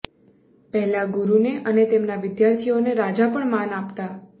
પહેલાં ગુરુને અને તેમના વિદ્યાર્થીઓને રાજા પણ માન આપતા